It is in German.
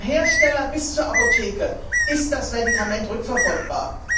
Vom Hersteller bis zur Apotheke ist das Medikament rückverfolgbar.